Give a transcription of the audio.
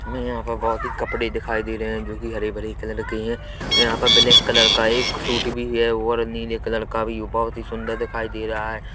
हमें यहाँ पर बहुत ही कपड़े दिखाई दे रहे है जो की हरे भरे कलर के है यहाँ पर ब्लैक कलर का एक सूट भी है और नीले कलर का भी बहुत सुन्दर दिखायी दे रहा हैं।